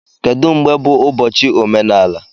Kedu mgbe bụ ụbọchị omenala?